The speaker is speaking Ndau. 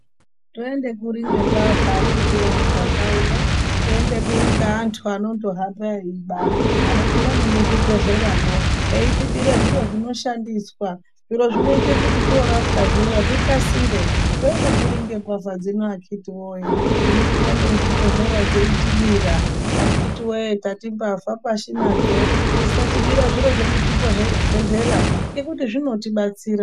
Toende kuri ngembavha akhiti woye muganga uno. Toende kuri ngeatu anondohamba eyiba, anopinda nemuzvi bhedhleramwo eyitibire zviro zvinoshandiswa, zviro zvinoita kuti toorapwa zviya zvikasire. Toyende kuri ngembavha dzino akhiti woye ,dzinopinda nemuzvi bhedhleramwo dzeitibira. Akhiti woye, ndati mbavha pashi nadzo dzisatibira zviro zvemuzvi bhedhlera ngekuti zvinoti batsira.